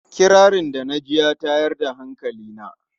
Kirarin da na ji ya tayar da hankali na.